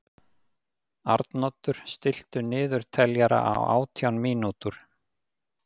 Arnoddur, stilltu niðurteljara á átján mínútur.